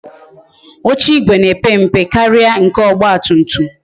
Oche igwe na-epe mpe karịa nke ọgba tum tum